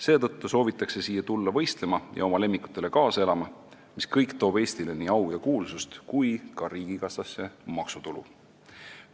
Seetõttu soovitakse siia võistlema ja oma lemmikutele kaasa elama tulla, mis kõik toob Eestile nii au ja kuulsust kui ka riigikassasse maksutulu.